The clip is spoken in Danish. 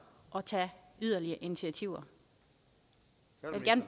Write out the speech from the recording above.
at tage yderligere initiativer